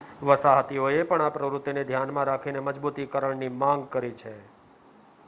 વસાહતીઓએ પણ આ પ્રવૃત્તિને ધ્યાનમાં રાખીને મજબૂતીકરણની માંગ કરી છે